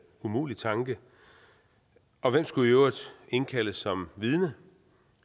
umulig tanke og hvem skulle i øvrigt indkaldes som vidne